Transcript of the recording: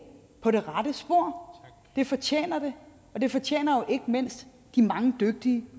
på rette spor det fortjener det og det fortjener ikke mindst de mange dygtige